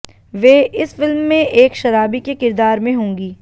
वे इस फिल्म में एक शराबी के किरदार में होंगी